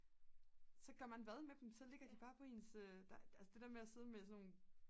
så gør man hvad med dem så ligger de bare på ens altså det der med at sidde med sådan nogle